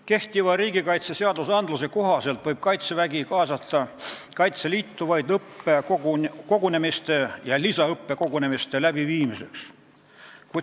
Kehtivate riigikaitseseaduste kohaselt võib Kaitsevägi kaasata Kaitseliitu vaid õppekogunemiste ja lisaõppekogunemiste läbiviimiseks.